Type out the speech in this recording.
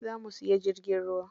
Za mu siya jirgin ruwa